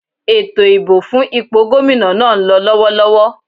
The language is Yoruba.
Ètò ìbò fún ipò Gómìnà náà ń lọ lọ́wọ́lọ́wọ́